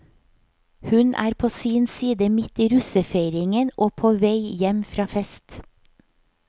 Hun er på sin side midt i russefeiringen og på vei hjem fra fest.